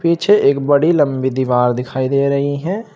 पीछे एक बड़ी लंबी दीवार दिखाई दे रही है।